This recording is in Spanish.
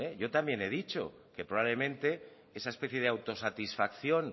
yo también he dicho que probablemente esa especie de autosatisfacción